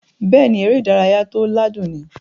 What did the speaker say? Bẹ́ẹ̀ni, eré ìdárayá tó ládùn ni